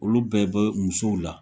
Olu bɛɛ bɔ musow la